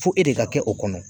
Fo e de ka kɛ o kɔnɔ